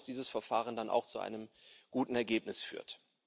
Wir hoffen, dass dieses Verfahren dann auch zu einem guten Ergebnis führt.